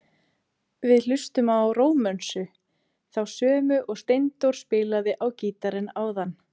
Við hlustum á Rómönsu, þá sömu og Steindór spilaði á gítarinn áðan.